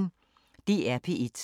DR P1